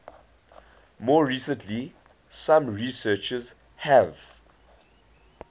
more recently some researchers have